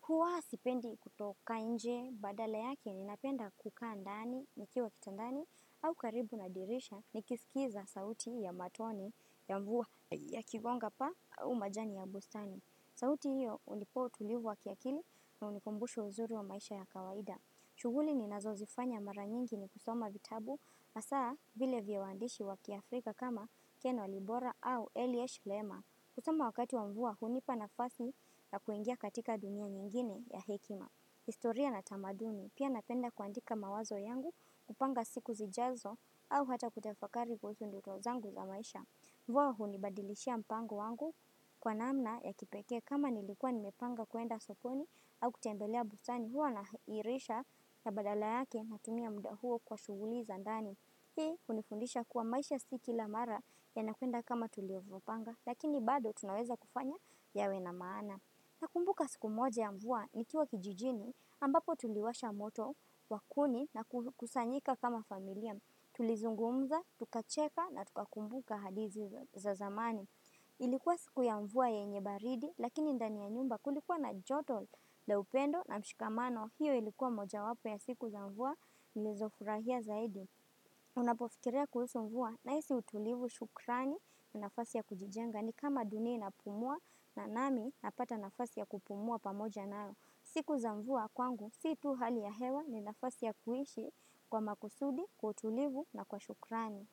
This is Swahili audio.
huwa sipendi kutoka inje badala yake ninapenda kukaa ndani, nikiwa kitandani, au karibu na dirisha nikisikiza sauti ya matone ya mvua yakigonga paa au majani ya bustani. Sauti hiyo hunipo utulivu wa ki akili na hunikumbusha uzuri wa maisha ya kawaida. Shughuli ninazo zifanya mara nyingi ni kusoma vitabu hasa vile vya wandishi wa ki Afrika kama Ken wa Libora au Eliash Lema. Kusoma wakati wa mvua hunipa nafasi ya kuingia katika dunia nyingine ya hekima. Historia na tamaduni pia na penda kuandika mawazo yangu kupanga siku zijazo au hata kutafakari kuhusu ndoto zangu za maisha. Mvua hunibadilishia mpango wangu kwa namna ya kipekee kama nilikuwa nimepanga kuenda sokoni au kutembelea bustani huwa naha irisha ya badala yake na tumia muda huo kwa shughuli za ndani. Hii hunifundisha kuwa maisha si kila mara yana kuenda kama tuliovo panga lakini bado tunaweza kufanya yawe na maana. Na kumbuka siku moja ya mvua nikiwa kijijini ambapo tuliwasha moto wa kuni na ku kusanyika kama familia. Tulizungumza, tukacheka na tukakumbuka hadizi za zamani Ilikuwa siku ya mvua yenye baridi, lakini ndani ya nyumba kulikuwa na joto la upendo na mshikamano hiyo ilikuwa moja wapo ya siku za mvua Nilizofurahia zaidi napofikiria kuhusu mvua Nahisi utulivu shukrani na nafasi ya kujijenga ni kama dunia inapumua na nami na pata nafasi ya kupumua pamoja nao siku za mvua kwangu si tu hali ya hewa ni nafasi ya kuishi Kwa makusudi, kwa utulivu na kwa shukrani.